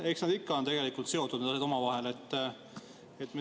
Eks nad ikka on tegelikult omavahel seotud.